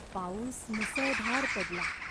पाऊस मुसळधार पडला.